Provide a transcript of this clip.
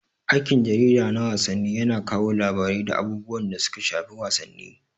Aikin jarida na wasanni yana kawo labarai da abubuwan da suka shafi wasanni.